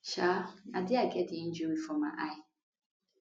um na dia i get di injury for my eye